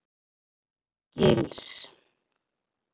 Gils